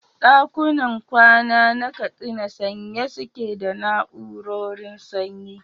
ɗakunan kwana na Katsina sanye suke da na'urorin sanyi.